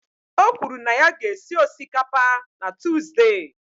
O kwuru na ya ga-esi osikapa na Tuzdee.